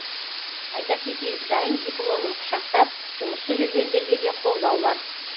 айта кетейік дайын дипломын құшақтап жұмыссыз жүргендерге де қолдау бар